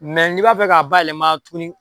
n'i b'a fɛ ka bayɛlɛma tuguni.